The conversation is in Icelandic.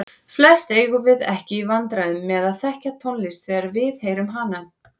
Flest eigum við ekki í vandræðum með að þekkja tónlist þegar við heyrum hana.